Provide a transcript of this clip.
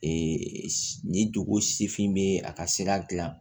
Ee nin dugu sifin be a ka sira gilan